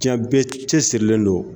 Giɲɛ bɛɛ cɛ sirilen don.